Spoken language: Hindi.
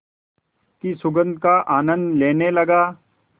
की सुगंध का आनंद लेने लगा